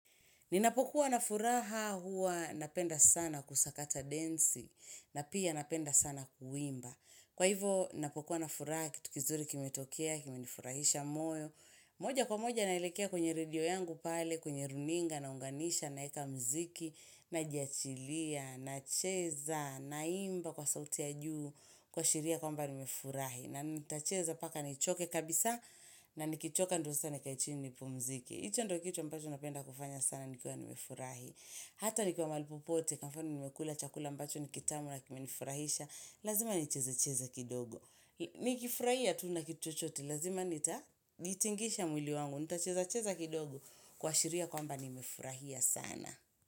Ninapokuwa na furaha huwa napenda sana kusakata densi na pia napenda sana kuimba. Kwa hivyo ninapokuwa na furaha kitu kizuri kimetokea, kimenifurahisha moyo. Moja kwa moja naelekea kwenye redio yangu pale, kwenye runinga, naunganisha, naweka mziki, najachilia, nacheza, naimba kwa sauti ya juu, kuashiria kwamba nimefurahi. Nanitacheza mpaka nichoke kabisa na nikichoka ndo sasa nikae chini nipumzike. Hicho ndio kitu ambacho napenda kufanya sana nikuwa nimefurahi. Hata nikiwa mahali popote, kwa mfano nimekula chakula ambacho ni kitamu na kimenifurahisha. Lazima nichezecheze kidogo. Nikifurahia tu na kitu chochote, lazima nitatingisha mwli wangu. Nitachezecheze kidogo kuashiria kwamba nimefurahia sana.